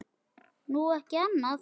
Nú, ekki annað.